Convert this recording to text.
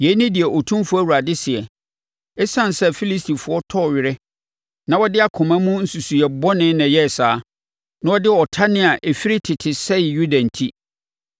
“Yei ne deɛ Otumfoɔ Awurade seɛ: ‘Esiane sɛ Filistifoɔ tɔɔ awere, na wɔde akoma mu nsusuiɛ bɔne na ɛyɛɛ saa, na wɔde ɔtane a ɛfiri tete sɛee Yuda enti,